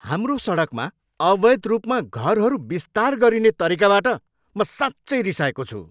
हाम्रो सडकमा अवैध रूपमा घरहरू विस्तार गरिने तरिकाबाट म साँच्चै रिसाएको छु।